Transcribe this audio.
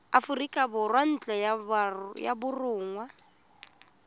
aforika borwa ntlo ya borongwa